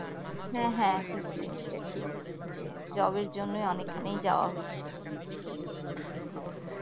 হ্যা হ্যা হয়েছে এটা ঠিক যে job এর জন্যই অনেক ক্ষানিক যাওয়া হয়েছে